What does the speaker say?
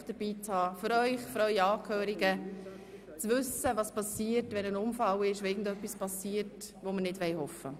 Es macht Sinn für Sie selber, aber auch für ihre Angehörigen, damit man weiss, was geschehen soll, wenn ein Unfall passiert, was wir ja selbstverständlich nicht hoffen.